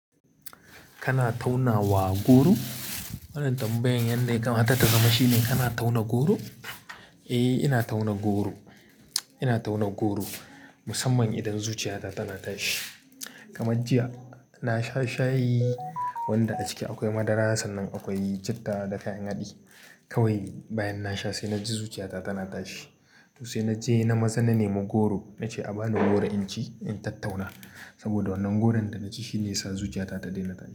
Kana tauna wa goro? Wannan tambayan yanda ya kamata ta zama shine kana tauna goro? Eh, ina tauna goro. Ina tauna goro musamman idan zuciyata tana tashi. Kamar jiya na sha shayi wanda a ciki akwai madara sannan akwai citta da kayan haɗi. Kawai bayan na sha sai na ji zuciyata tana tashi. To sai na je na maza na nemi goro na ce a bani goro in ci in tattauna. Saboda wannan goron da na ci shine ya sa zuciyata ta daina tashi.